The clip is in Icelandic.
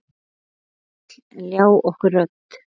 Hver vill ljá okkur rödd?